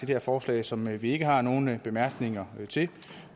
her forslag som vi ikke har nogen bemærkninger til